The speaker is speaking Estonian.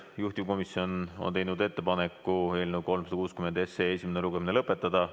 Juhtivkomisjon on teinud ettepaneku eelnõu 360 lugemine lõpetada.